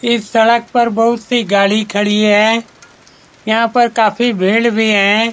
इस सड़क पर बहुत सी गाड़ी खड़ी हैं यहाँ पर काफी भीड़ भी हैं ।